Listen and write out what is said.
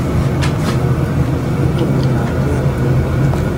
Kiginyoruu lakwet korue